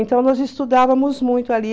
Então nós estudávamos muito ali.